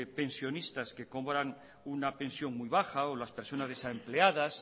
pensionistas que cobran una pensión muy baja o las personas desempleadas